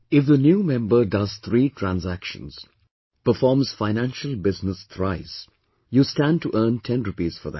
If the new member does three transactions, performs financial business thrice, you stand to earn ten rupees for that